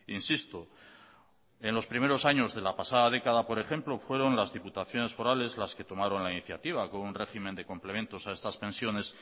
insisto en los primeros años de la pasada década por ejemplo fueron las diputaciones forales las que tomaron la iniciativa con un régimen de complementos a estas pensiones